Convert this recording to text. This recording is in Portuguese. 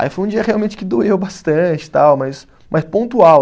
Aí foi um dia realmente que doeu bastante tal, mas mas pontual.